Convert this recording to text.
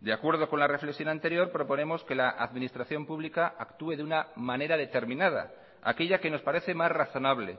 de acuerdo con la reflexión anterior proponemos que la administración pública actúe de una manera determinada aquella que nos parece más razonable